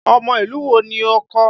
Ọmọ ìlú wo ni ọkọ?